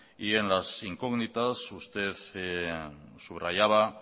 y en las incógnitas usted subrayaba